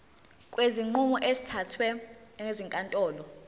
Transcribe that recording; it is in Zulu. kwezinqumo ezithathwe ezinkantolo